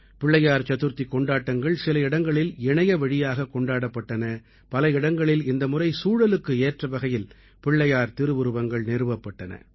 பிள்ளையார் சதுர்த்திக் கொண்டாட்டங்கள் சில இடங்களில் இணையவழியாகக் கொண்டாடப்பட்டன பல இடங்களில் இந்த முறை சூழலுக்கு ஏற்றவகையில் பிள்ளையார் திருவுருவங்கள் நிறுவப்பட்டன